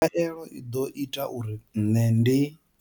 Khaelo i ḓo ita uri nṋe ndi.